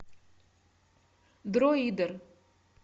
дроидер